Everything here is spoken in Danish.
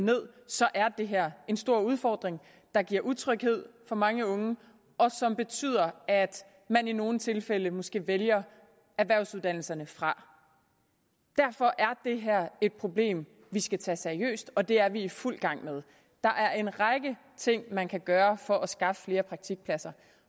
ned er det her en stor udfordring der giver utryghed for mange unge og som betyder at man i nogle tilfælde måske vælger erhvervsuddannelserne fra derfor er det her et problem vi skal tage seriøst og det er vi i fuld gang med der er en række ting man kan gøre for at skaffe flere praktikpladser